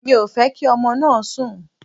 Mi ò fẹ́ kí ọmọ náà sunkún.